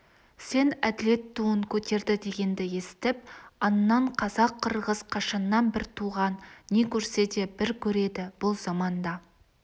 сен әділет туын көтерді дегенді естіп аңнан қазақ-қырғыз қашаннан бір туған не көрсе де бір көреді бұл заманда